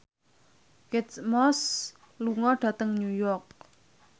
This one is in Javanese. Kate Moss lunga dhateng New York